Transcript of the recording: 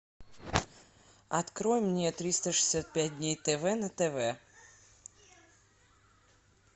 открой мне триста шестьдесят пять дней тв на тв